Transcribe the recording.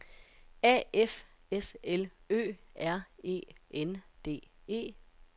A F S L Ø R E N D E